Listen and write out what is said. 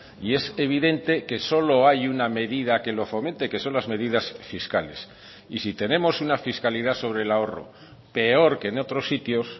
y es evidente que solo hay una medida que lo fomente que son las medidas fiscales y si tenemos una fiscalidad sobre el ahorro peor que en otros sitios